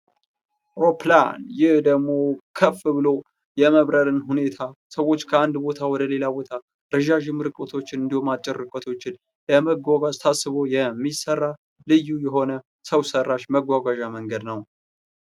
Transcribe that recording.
አውሮፕላን ይህ ደግሞ ከፍ ብሎ የመብረርን ሁኔታ ሰዎች ከአንድ ቦታ ወደ ሌላ ቦታ ረጃጅም ርቀቶችን እንዲሁም አጭር ርቀቶችን ለመጓጓዝ ታስቦ የሚሰራ ልዩ የሆነ ሰው ሰራሽ መጓጓዣ መንገድ ነው ።